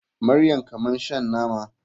Maryam kamar shan nama.